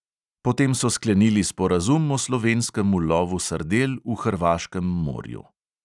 Potem so sklenili sporazum o slovenskem ulovu sardel v hrvaškem morju.